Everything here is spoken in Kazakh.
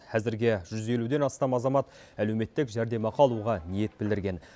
әзірге жүз елуден астам азамат әлеуметтік жәрмемақы алуға ниет білдірген